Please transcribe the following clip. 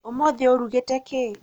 ũmũthĩ ũrugĩte kĩ?